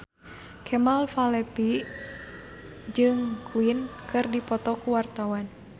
Kemal Palevi jeung Queen keur dipoto ku wartawan